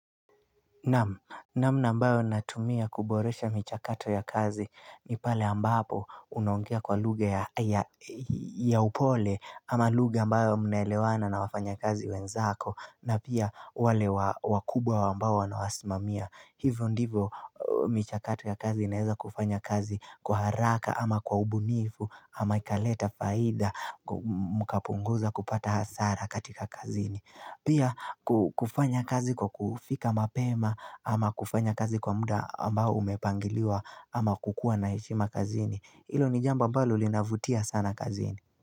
Namna ambayo natumia kuboresha michakato ya kazi ni pale ambapo unaongea kwa lugha ya upole ama lugha ambayo mnaelewana na wafanyakazi wenzako na pia wale wakubwa ambao wanawasimamia. Hivyo ndivyo michakato ya kazi inaeza kufanya kazi kwa haraka ama kwa ubunifu ama ikaleta faida mkapunguza kupata hasara katika kazini. Pia kufanya kazi kwa kufika mapema ama kufanya kazi kwa muda ambao umepangiliwa ama kukua na heshima kazini. Ilo ni jambo ambalo linavutia sana kazini.